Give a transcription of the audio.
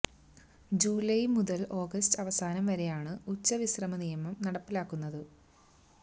July മുതല് August അവസാനം വരെയാണ് ഉച്ച വിശ്രമ നിയമം നടപ്പാക്കുന്നത്